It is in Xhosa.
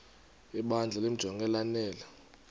ibandla limjonge lanele